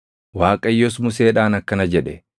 Waaqayyos Museedhaan akkana jedhe: